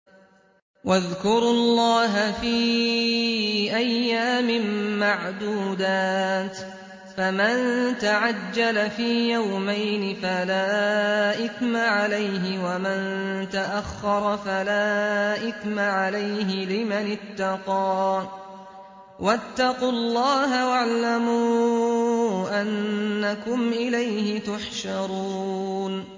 ۞ وَاذْكُرُوا اللَّهَ فِي أَيَّامٍ مَّعْدُودَاتٍ ۚ فَمَن تَعَجَّلَ فِي يَوْمَيْنِ فَلَا إِثْمَ عَلَيْهِ وَمَن تَأَخَّرَ فَلَا إِثْمَ عَلَيْهِ ۚ لِمَنِ اتَّقَىٰ ۗ وَاتَّقُوا اللَّهَ وَاعْلَمُوا أَنَّكُمْ إِلَيْهِ تُحْشَرُونَ